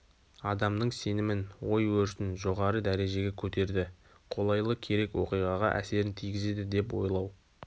адамның сенімін ой-өрісін жогары дәрежеге көтерді қолайлы керек оқиғаға әсерін тигізеді деп ойлау